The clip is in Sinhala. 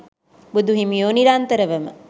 බුදුහිමියෝ නිරන්තරවම